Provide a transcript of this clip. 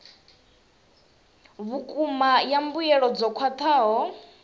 vhukuma ya mbuelo dzo khwathaho